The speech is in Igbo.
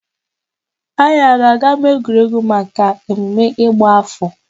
Anyị a ga aga n'ámáegwuregwu maka emume ịgba áfọ̀?